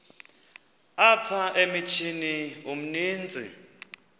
apha emithini umsintsi